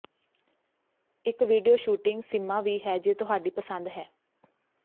ਇੱਕ video shooting ਸੀਮਾ ਵੀ ਹੈ ਜੇ ਤੁਹਾਡੀ ਪਸੰਦ ਹੈ